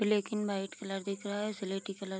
black and white colour दिख रहा है स्लेटी कलर --